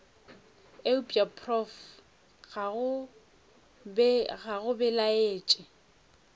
eupša prof ga go belaetše